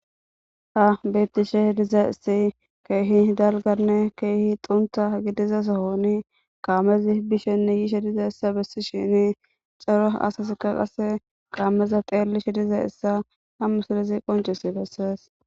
ta bettishe diza issi keehi dalganne keehi xuntha gidizasohoni kaamezi bishenne yiishe diza issa bessi shini caro asasika qase qaammeza qeellishe diza issa ha musilezi qoncisi bessees